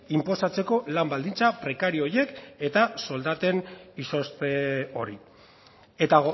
inposatzeko lan baldintza prekario horiek eta soldaten izozte hori eta